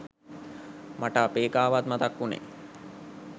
මට අපේ එකාවත් මතක් වුනේ.